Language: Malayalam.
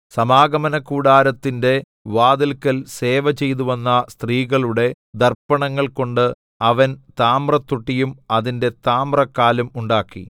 സമാഗമനകൂടാരത്തിന്റെ വാതില്ക്കൽ സേവ ചെയ്തുവന്ന സ്ത്രീകളുടെ ദർപ്പണങ്ങൾ കൊണ്ട് അവൻ താമ്രത്തൊട്ടിയും അതിന്റെ താമ്രക്കാലും ഉണ്ടാക്കി